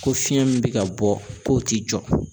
Ko fiɲɛ min bɛ ka bɔ k'o ti jɔ